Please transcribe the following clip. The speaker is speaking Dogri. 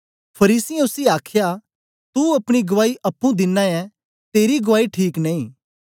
फरीसियें उसी आखया तू अपनी गवाई अप्पुं दिनां ऐं तेरी गुआई ठीक नेई